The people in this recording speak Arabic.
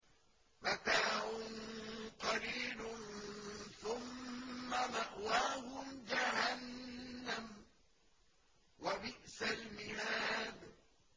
مَتَاعٌ قَلِيلٌ ثُمَّ مَأْوَاهُمْ جَهَنَّمُ ۚ وَبِئْسَ الْمِهَادُ